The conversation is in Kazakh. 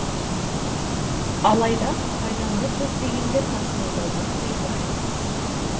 алайда пайданы көздегендер тасымалдаудан тыйылар емес